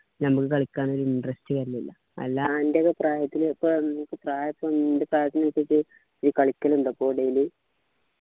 ഞമ്മക്ക് കളിക്കാനൊരു interest വരുന്നില്ല അല്ലാണ്ട് പ്രായത്തിനൊപ്പം പ്രയൊക്കെ ഉണ്ട് വെച്ചിട്ട് ഈ കളിക്കലുണ്ട് പ്പോ daily